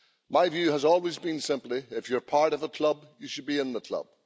My view has always been simply, if you're part of a club, you should be in the club.